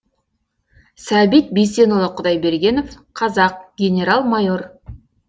сәбит бейсенұлы құдайбергенов қазақ генерал майор